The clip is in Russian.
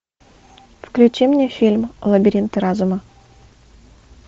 включи мне фильм лабиринты разума